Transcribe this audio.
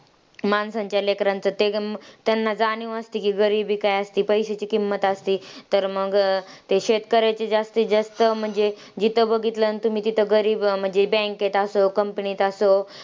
माणसांच्या लेकरांचं ते त्यांना जाणीव असते की गरीबी काय असते, पैश्यांची किंमत असते. तर मंग ते शेतकऱ्यांचे जास्तीत जास्त म्हणजे जिथे बघितलं ना तुम्ही तिथं गरीब म्हणजे bank मध्ये असो, company मध्ये असो.